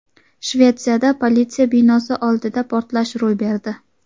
Shvetsiyada politsiya binosi oldida portlash ro‘y berdi.